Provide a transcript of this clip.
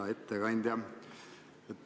Hea ettekandja!